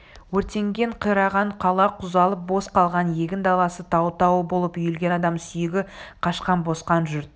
өртенген қираған қала құлазып бос қалған егін даласы тау-тау болып үйілген адам сүйегі қашқан босқан жұрт